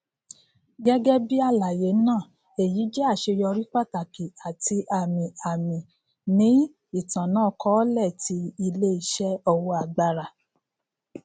gẹgẹbi alaye naa eyi jẹ aṣeyọri pataki ati amiami ni itanakọọlẹ ti ileiṣẹ owo agbara